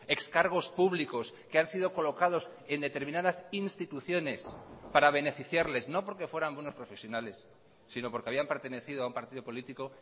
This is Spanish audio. ex cargos públicos que han sido colocados en determinadas instituciones para beneficiarles no porque fueran buenos profesionales sino porque habían pertenecido a un partido político